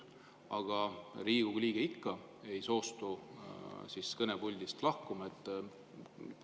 Aga kui Riigikogu liige ikka ei soostu kõnepuldist lahkuma?